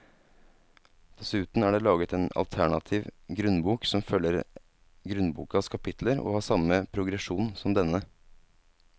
Dessuten er det laget en alternativ grunnbok som følger grunnbokas kapitler og har samme progresjon som denne.